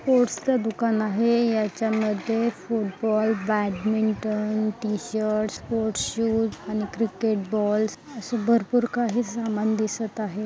स्पोर्ट्सचं दुकान आहे याच्यामध्ये football badminton T-shirts sports shoes आणि क्रिकेट बॉल्स अशे भरपूर काही सामान दिसत आहे.